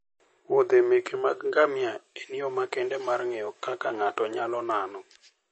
muodhe meke ngamia en yo makende mar ng'eyo kaka ng'ato nyalo nano.